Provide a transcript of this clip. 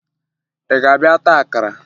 Ị ga-abịa taa akara?